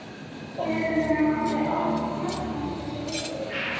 Föður hennar hafði áður hlotnast þessi heiður.